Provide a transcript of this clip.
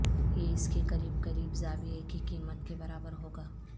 یہ اس کے قریب قریب زاویے کی قیمت کے برابر ہو گا